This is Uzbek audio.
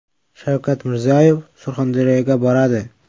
Shavkat Mirziyoyev Surxondaryoga boradi.